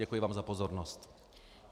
Děkuji vám za pozornost.